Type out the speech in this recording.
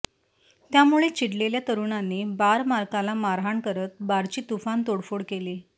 त्यामुळे चिडलेल्या तरुणांनी बार मालकाला मारहाण करत बारची तुफान तोडफोड केली